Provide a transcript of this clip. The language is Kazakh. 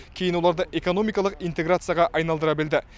кейін оларды экономикалық интеграцияға айналдыра білді